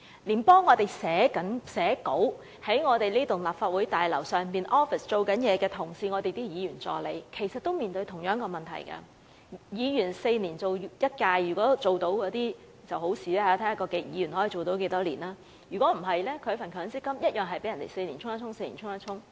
連幫我們寫稿，在立法會大樓辦公室工作的同事，即我們的助理，亦面對同樣的問題，議員4年一屆任期，如果議員能連任當然最好，視乎議員連任多少屆，否則一般議員助理的強積金每4年便要被對沖一次。